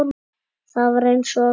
Það var eins og